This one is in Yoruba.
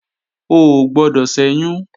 O ò gbọdọ̀ ṣẹ́yún!